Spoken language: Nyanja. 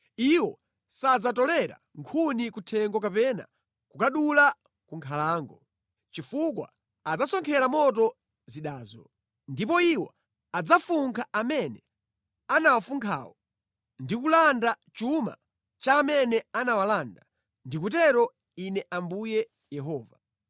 Iwo sadzatolera nkhuni kuthengo kapena kukadula ku nkhalango, chifukwa adzasonkhera moto zidazo. Ndipo iwo adzafunkha amene anawafunkhawo, ndi kulanda chuma cha amene anawalanda, ndikutero Ine Ambuye Yehova.